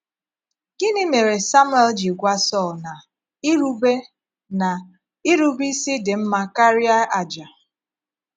Gịnị mére Samuel ji gwá Sọl na “ irube na “ irube ísì dị mma karịa àjà ”?